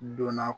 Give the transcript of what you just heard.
Donna